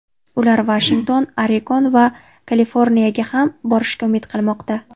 Ular Vashington, Oregon va Kaliforniyaga ham borishga umid qilmoqda.